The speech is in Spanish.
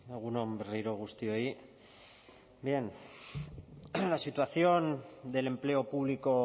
egun on berriro guztioi bien la situación del empleo público